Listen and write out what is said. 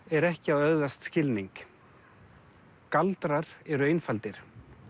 er ekki að öðlast skilning galdrar eru einfaldir